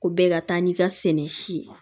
Ko bɛɛ ka taa ni ka sɛnɛ si ye